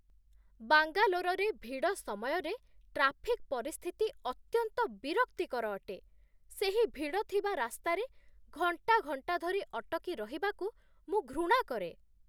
ବାଙ୍ଗାଲୋରରେ ଭିଡ଼ ସମୟରେ ଟ୍ରାଫିକ୍ ପରିସ୍ଥିତି ଅତ୍ୟନ୍ତ ବିରକ୍ତିକର ଅଟେ ସେହି ଭିଡ଼ଥିବା ରାସ୍ତାରେ ଘଣ୍ଟା ଘଣ୍ଟା ଧରି ଅଟକି ରହିବାକୁ ମୁଁ ଘୃଣା କରେ।